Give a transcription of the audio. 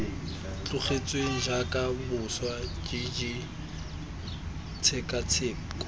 tlogetsweng jaaka boswa jj tshekatsheko